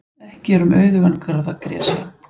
Ekki er um auðugan garð að gresja.